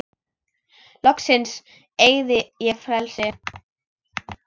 Loksins eygði ég frelsi.